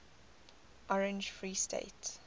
orange free state